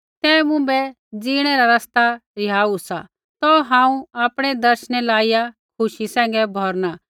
तैं मुँभै ज़ीणै रा रस्ता रिहाऊ सा तौ हांऊँ आपणै दर्शनै लाइया खुशी सैंघै भौरना